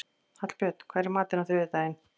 Hallbjörn, hvað er í matinn á þriðjudaginn?